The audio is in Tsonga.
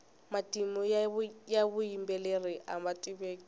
matimu ya vuyimbeleri ama tiveki